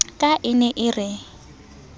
ka e ne e re